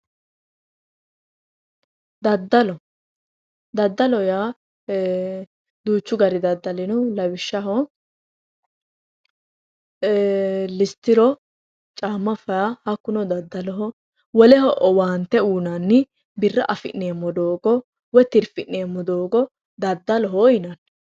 daddalo dadalo yaa ee duuchu gari daddali no ee listiro caamma feya daddaloho woleho owaante uyinanni birra afi'neemo doogo woy tirfi'nemmo doogo daddaloho yinanni